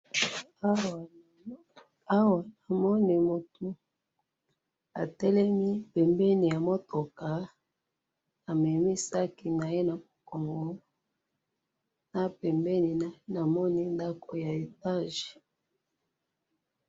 awa namoni mutou atelemi pembeni ya mutouka amemi sac naye na moukongo na pembeni naye namoni ndakou ya etage